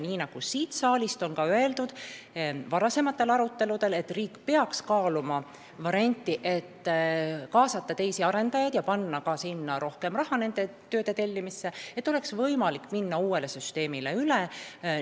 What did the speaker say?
Nagu siin saalis on ka varasematel aruteludel öeldud, riik peaks kaaluma, kas mitte kaasata teisi arendajaid ja panna rohkem raha nende tööde tellimisse, et oleks võimalik uuele süsteemile üle minna.